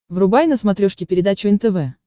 врубай на смотрешке передачу нтв